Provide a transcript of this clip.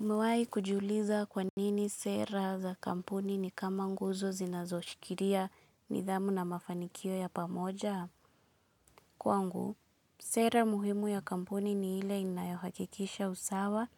Umewaihi kujiuliza kwa nini sera za kampuni ni kama nguzo zinazoshikilia nidhamu na mafanikio ya pamoja? Kwangu, sera muhimu ya kampuni ni ile inayohakikisha usawa